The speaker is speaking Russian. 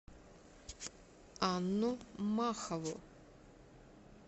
анну махову